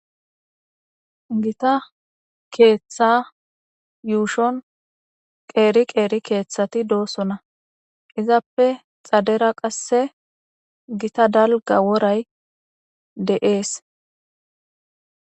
Gita keetha yuushon qeri qeri keethati de'osona. Izappe cadets qase gita dalga woray de'es.